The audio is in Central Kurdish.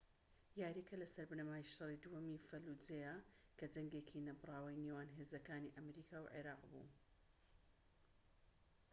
یارییەکە لەسەر بنەمای شەڕی دووەمی فەلوجەیە کە جەنگێکی نەبڕاوی نێوان هێزەکانی ئەمریکا و عێراق بوو